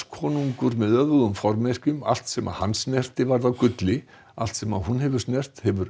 konungur með öfugum formerkjum allt sem hann snerti varð að gulli allt sem hún hefur snert hefur